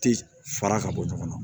Tɛ fara ka bɔ ɲɔgɔn na